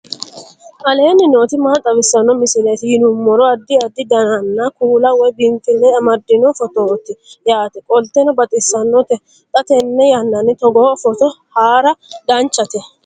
aleenni nooti maa xawisanno misileeti yinummoro addi addi dananna kuula woy biinfille amaddino footooti yaate qoltenno baxissannote xa tenne yannanni togoo footo haara danchate